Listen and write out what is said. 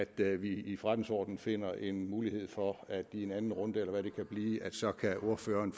til at vi i forretningsordenen finder en mulighed for at give en anden runde eller hvad det kan blive så ordføreren